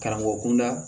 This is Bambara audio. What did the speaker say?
Karamɔgɔ kunda